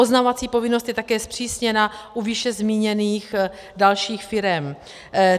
Oznamovací povinnost je také zpřísněna u výše zmíněných dalších firem.